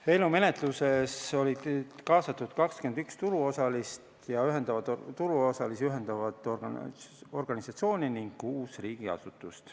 Eelnõu menetluses olid kaasatud 21 turuosalisi ühendavat organisatsiooni ning kuus riigiasutust.